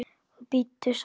Og bíddu svars.